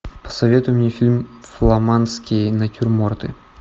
посоветуй мне фильм фламандские натюрморты